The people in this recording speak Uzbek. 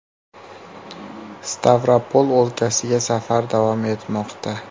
Stavropol o‘lkasiga safar davom etmoqda.